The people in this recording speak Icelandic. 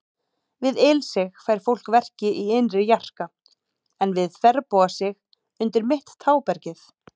Við ilsig fær fólk verki í innri jarka, en við þverbogasig undir mitt tábergið.